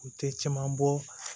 U tɛ caman bɔ